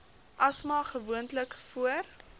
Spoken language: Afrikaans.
asma gewoonlik voor